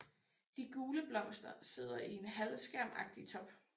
De gule blomster sidder i en halvskærmagtig top